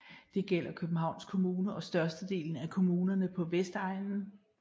Det gælder Københavns Kommune og størstedelen af kommunerne på Vestegnen